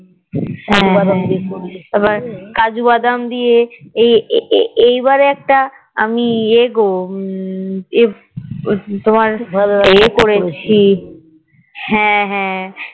হ্যাঁ আবার কাজু বাদাম দিয়ে এই বারে একটা আমি এগো উম তোমার এ করেছি